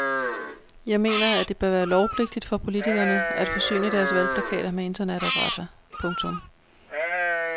Jeg mener at det bør være lovpligtigt for politikerne at forsyne deres valgplakater med internetadresser. punktum